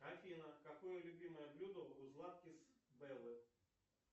афина какое любимое блюдо у златкис беллы